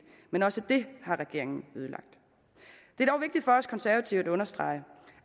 men også det har regeringen ødelagt det er dog vigtigt for os konservative at understrege